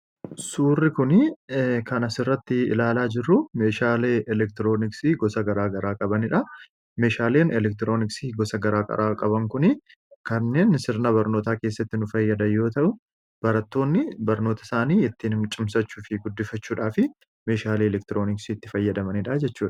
suurri kuni kan asirratti ilaalaa jiru meeshaalee elektirooniksii gosa gara gara qabanidha meeshaaleen elektirooniksii gosa gara gara qaban kun kanneen sirna barnootaa keessatti nu fayyadanif barattoonni barnoota isaanii ittiin ciimsachuu fi guddifachuudhaa fi meeshaalee elektirooniksi itti fayyadamaniidhaa jechuudha